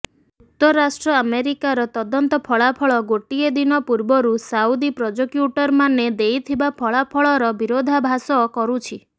ଯୁକ୍ତରାଷ୍ଟ୍ର ଆମେରିକାର ତଦନ୍ତ ଫଳାଫଳ ଗୋଟିଏ ଦିନ ପୂର୍ବରୁ ସାଉଦି ପ୍ରଜୋକ୍ୟୁଟରମାନେ ଦେଇଥିବା ଫଳାଫଳର ବିରୋଧାଭାସ କରୁଛି